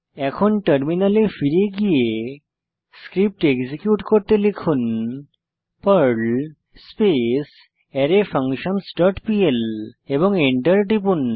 এখন টার্মিনালে ফিরে গিয়ে স্ক্রিপ্ট এক্সিকিউট করতে লিখুন পার্ল স্পেস অ্যারেফাঙ্কশনসহ ডট পিএল এবং এন্টার টিপুন